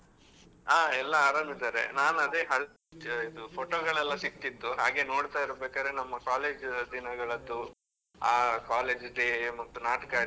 ಹಾ ಎಲ್ಲ ಆರಾಮಿದಾರೆ, ನಾನ್ ಅದೇ ಹಳೆ photo ಗಳೆಲ್ಲಾ ಸಿಕ್ತಿತ್ತು ಹಾಗೆ ನೋಡ್ತಾ ಇರ್ಬೇಕಾದ್ರೆ, ನಮ್ಮ college ದಿನಗಳದ್ದು ಆ college day ಮತ್ತೆ ನಾಟಕ ಆಡಿದ್ದು.